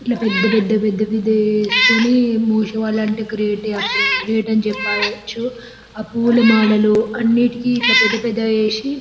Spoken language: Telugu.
ఇట్లా పెద్ద పెద్ద పెద్ద పెద్దగా చేసుకోనీ గ్రేట్ అని చెప్పవచ్చు హ పూల మాలలు అన్నిటికీ ఇట్లా పెద్ద పెద్దగా చేశి--